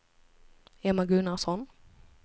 Emma Gunnarsson